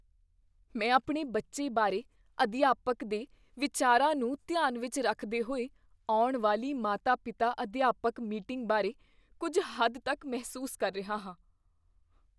ਮੈਂ ਆਪਣੇ ਬੱਚੇ ਬਾਰੇ ਅਧਿਆਪਕ ਦੇ ਵਿਚਾਰਾਂ ਨੂੰ ਧਿਆਨ ਵਿੱਚ ਰੱਖਦੇ ਹੋਏ ਆਉਣ ਵਾਲੀ ਮਾਤਾ ਪਿਤਾ ਅਧਿਆਪਕ ਮੀਟਿੰਗ ਬਾਰੇ ਕੁੱਝ ਹੱਦ ਤੱਕ ਮਹਿਸੂਸ ਕਰ ਰਿਹਾ ਹਾਂ